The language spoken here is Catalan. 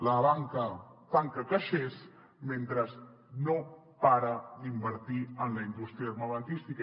la banca tanca caixers mentre no para d’invertir en la indústria armamentística